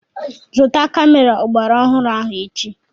Zụta kamera ọgbaraọhụrụ ahụ echi!